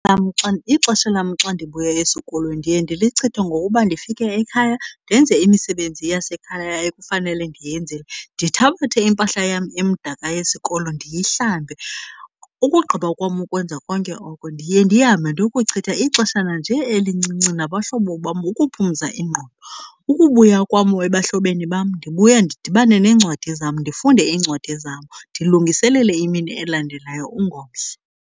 lam xa, ixesha lam xa ndibuya esikolweni ndiye ndilichithe ngokuba ndifike ekhaya ndenze imisebenzi yasekhaya ekufanele ndiyenzile, ndithabathe iimpahla yam emdaka yesikolo ndiyihlambe. Ukugqiba kwam ukwenza konke oko ndiye ndihambe ndokuchitha ixeshana nje elincinci nabahlobo bam ukuphumza ingqondo. Ukubuya kwam ebahlobeni bam ndibuya ndidibane neencwadi zam, ndifunde iincwadi zam ndilungiselele imini elandelayo ungomso.